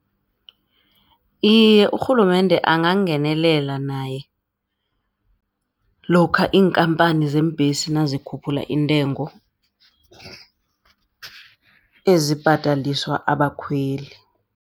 Iye, urhulumende angangenelela naye. Lokha iinkampani zeembhesi nazikhuphula iintengo ezibhadaliswa abakhweli.